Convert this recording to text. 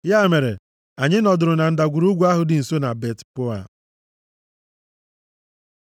Ya mere, anyị nọdụrụ na ndagwurugwu ahụ dị nso na Bet-Peoa.